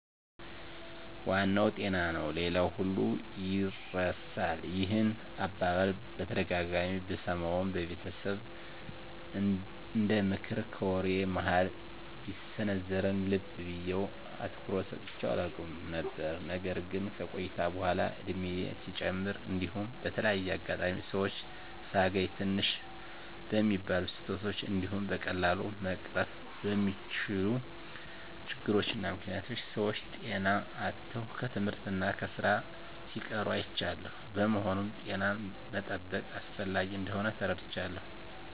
" ዋናው ጤና ነው ሌላው ሁሉ ይርሳል። " ይህን አባባል በተደጋጋሚ ብሰማውም በቤተሰብ እንደምክር ከወሬ መሀል ቢሰነዘርም ልብ ብየ አትኩሮት ሰጥቸው አላውቅም ነበር። ነገር ግን ከቆይታ በኃላ እድሜየም ሲጨምር እንዲሁም በተለያየ አጋጣሚ ሰወችን ሳገኝ ትንሽ በሚባሉ ስህተቶች እንዲሁም በቀላሉ መቀረፍ በሚችሉ ችግሮች እና ምክኒያቶች ሰወች ጤና አጥተው ከትምህርት እና ከስራ ሲቀሩ አይቻለሁ። በመሆኑም ጤናን መጠበቅ አስፈላጊ እንደሆን ተረድቻለሁ።